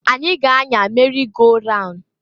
Anyi ga-anya merị go raun.